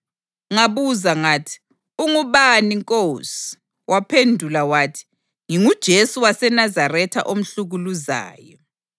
Ngabuza ngathi, ‘Ungubani, Nkosi?’ Waphendula wathi, ‘NginguJesu waseNazaretha omhlukuluzayo.’